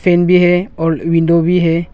Fan भी है और विंडो भी है।